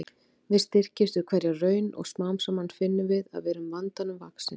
Við styrkjumst við hverja raun og smám saman finnum við að við erum vandanum vaxin.